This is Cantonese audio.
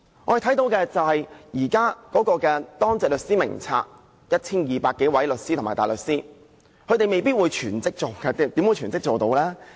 我們看到的是，現時的當值律師名冊中有 1,200 多位律師和大律師，他們未必是全職的，怎可能是全職呢？